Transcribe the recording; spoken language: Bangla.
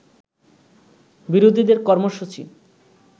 বিরোধীদের কর্মসূচী